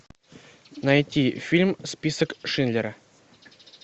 найти фильм список шиндлера